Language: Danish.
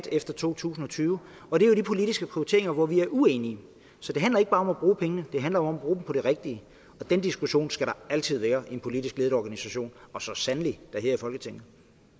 efter to tusind og tyve er jo de politiske prioriteringer hvor vi er uenige så det handler ikke bare om at bruge pengene det handler om at bruge dem på det rigtige og den diskussion skal der altid være i en politisk ledet organisation og så sandelig da her i folketinget